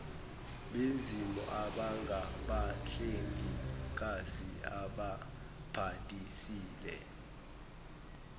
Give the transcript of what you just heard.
bezimo abangabahlengikazi ababhalisile